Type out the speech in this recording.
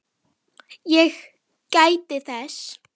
Ég gæti þess.